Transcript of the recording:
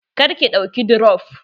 Kar ki ɗauka dirop!